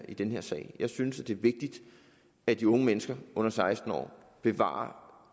i den her sag jeg synes det er vigtigt at de unge mennesker under seksten år bevarer